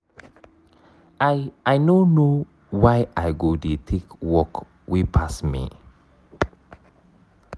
i i no know why i go dey take work wey pass me.